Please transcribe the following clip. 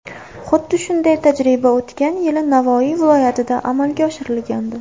Xuddi shunday tajriba o‘tgan yili Navoiy viloyatida amalga oshirilgandi.